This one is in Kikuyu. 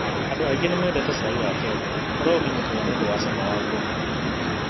Andũ aingĩ nĩ mendete cai wa Kenya, ũrĩa ũmenyekaga nĩ ũndũ wa cama wake mwega.